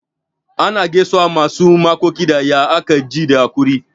Ana gaisuwan masu makoki da "ya aka ji da hakuri'?